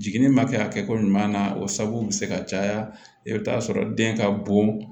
Jiginni ma kɛ a kɛ ko ɲuman na o sababu be se ka caya i bi taa sɔrɔ den ka bon